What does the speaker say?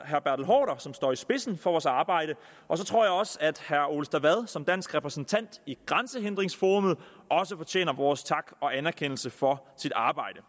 haarder som står i spidsen for vores arbejde og så tror jeg også at herre ole stavad som dansk repræsentant i grænsehindringsforum fortjener vores tak og anerkendelse for sit arbejde